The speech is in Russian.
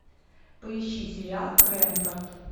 поищи сериал крэнфорд